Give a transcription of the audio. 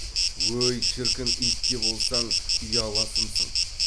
өй шіркін ит те болсаң ұяласымсың